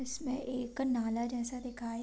इसमें एक नाला जैसा दिखाई --